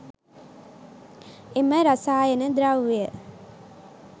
එම රසායන ද්‍රව්‍යය